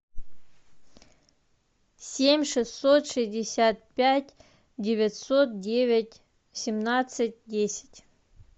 семь шестьсот шестьдесят пять девятьсот девять семнадцать десять